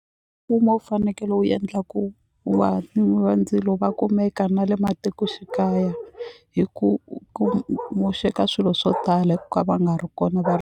Mfumo wu fanekele wu endla ku va ndzilo va kumeka na le matikoxikaya hi ku ku moxeka swilo swo tala hi ku ka va nga ri kona va ri.